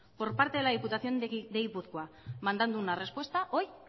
por parte de la diputación de gipuzkoa mandando una respuesta hoy